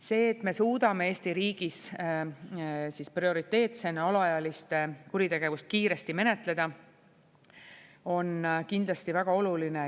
See, et me suudame Eesti riigis prioriteetsena alaealiste kuritegevust kiiresti menetleda, on kindlasti väga oluline.